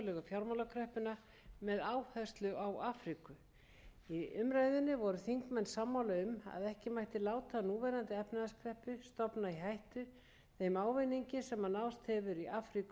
fjármálakreppuna með áherslu á afríku í umræðunni voru þingmenn sammála um að ekki mætti láta núverandi efnahagskreppu stofna í hættu þeim ávinningi sem náðst hefur í afríku á síðustu árum í öðru lagi var umræða um fæðuöryggi